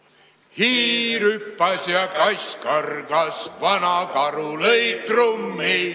Hiir hüppas ja kass kargas, vana karu lõi trummi.